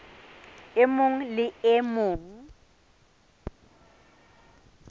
e mong le e mong